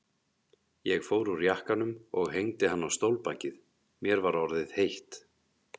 Ég fór úr jakkanum og hengdi hann á stólbakið, mér var orðið heitt.